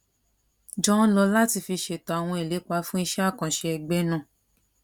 jọ ń lò láti fi ṣètò àwọn ìlépa fún iṣẹ àkànṣe ẹgbẹ náà